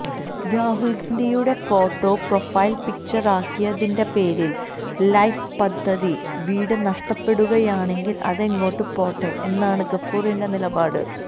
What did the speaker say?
രാഹുൽഗാന്ധിയുടെ photo profile picture ആക്കിയതിന്റെ പേരിൽ ലൈഫ് പദ്ധതിയിൽ വീട് നഷ്ടപ്പെടുകയാണെങ്കിൽ അതങ്ങോട്ട് പോട്ടെ എന്നാണ് ഗഫൂറിന്റെ നിലപാട്